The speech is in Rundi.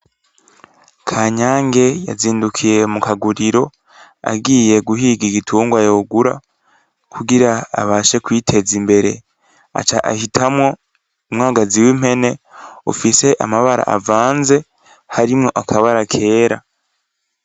KANYANGE yazindukiye mukaguriro agiye guhiga igitungwa yogura kugira abashe kwiteza imbere ,aca ahitamwo umwagazi w'impene ufise amabara avanze, harimwo amabara kera.